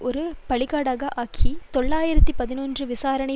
ஒரு பலிகடாவாக ஆக்கி தொள்ளாயிரத்து பதினொன்று விசாரணை